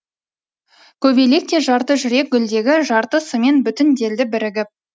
көбелекте жарты жүрек гүлдегі жартысымен бүтінделді бірігіп